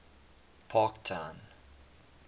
parktown